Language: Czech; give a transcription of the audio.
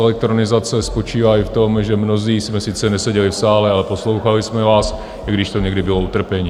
Elektronizace spočívá i v tom, že mnozí jsme sice neseděli v sále, ale poslouchali jsme vás, i když to někdy bylo utrpení.